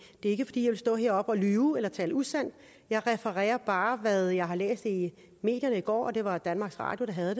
ikke fordi jeg vil stå heroppe og lyve eller tale usandt jeg refererer bare hvad jeg har læst i medierne i går og det var danmarks radio der havde